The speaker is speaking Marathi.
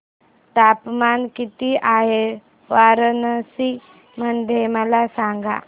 तापमान किती आहे वाराणसी मध्ये मला सांगा